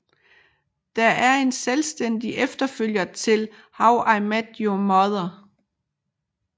Det er en selvstændig efterfølger til How I Met Your Mother